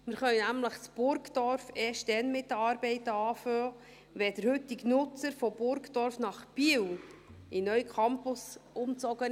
Wir können in Burgdorf nämlich erst dann mit den Arbeiten beginnen, wenn der heutige Nutzer von Burgdorf nach Biel in den neuen Campus umzog.